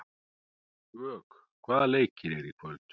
Vök, hvaða leikir eru í kvöld?